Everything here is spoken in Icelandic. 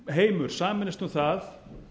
þingheimur sameinist um það